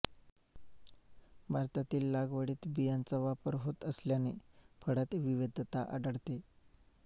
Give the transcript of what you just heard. भारतातील लागवडीत बियांचा वापर होत असल्याने फळांत विविधता आढळते